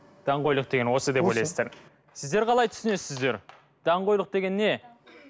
даңғойлық деген осы деп ойлайсыздар сіздер қалай түсінесіздер даңғойлық деген не